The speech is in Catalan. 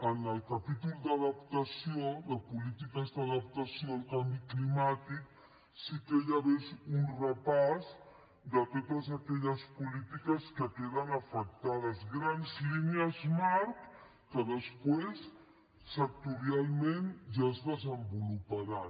en el capítol de polítiques d’adaptació al canvi climàtic sí que hi hagués un repàs de totes aquelles polítiques que queden afectades grans línies marc que després sectorialment ja es desenvoluparan